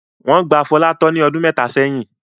Wọ́n gba Fọlá tọ́ ní ọdún mẹ́ta sẹ́yìn.